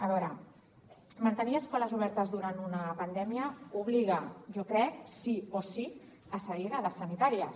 a veure mantenir escoles obertes durant una pandèmia obliga jo crec sí o sí a cedir dades sanitàries